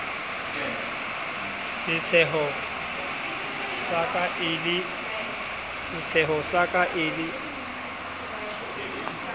setsheho sa ka e le